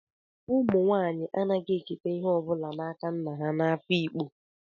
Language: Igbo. Umu nwanyi anaghi eketa ihe o bula n'aka nna ha n'Afikpo,